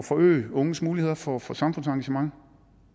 forøge unges muligheder for for samfundsengagement